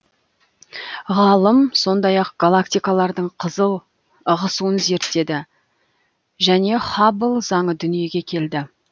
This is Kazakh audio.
ғалым сондай ақ галактикалардың қызыл ығысуын зерттеді нәтижесінде хаббл заңы дүниеге келді